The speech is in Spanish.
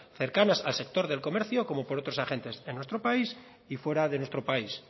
cercanas al sector del comercio como por otros agentes de nuestro país y fuera de nuestro país